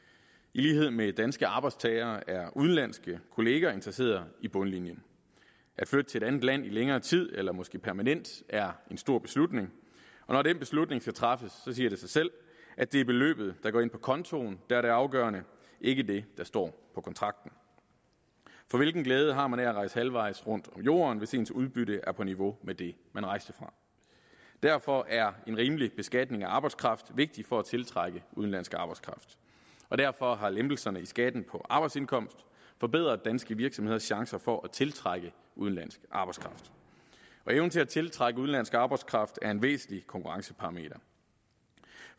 i lighed med danske arbejdstagere er udenlandske kollegaer interesseret i bundlinjen at flytte til et andet land i længere tid eller måske permanent er en stor beslutning og når den beslutning skal træffes siger det sig selv at det er beløbet der går ind på kontoen der er det afgørende ikke det der står på kontrakten for hvilken glæde har man at rejse halvvejs rundt om jorden hvis ens udbytte er på niveau med det man rejste fra derfor er en rimelig beskatning af arbejdskraft vigtigt for at tiltrække udenlandsk arbejdskraft og derfor har lempelserne i skatten på arbejdsindkomst forbedret danske virksomheders chancer for at tiltrække udenlandsk arbejdskraft evnen til at tiltrække udenlandsk arbejdskraft er en væsentlig konkurrenceparameter